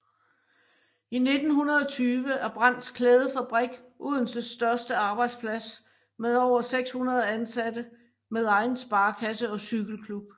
I 1920 er Brandts Klædefabrik Odenses største arbejdsplads med over 600 ansatte med egen sparekasse og cykelklub